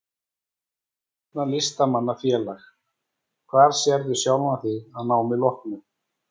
Vill stofna Listamanna-félag Hvar sérðu sjálfan þig að námi loknu?